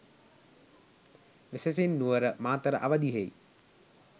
වෙසෙසින් Nuwara, Matara අවධියෙහි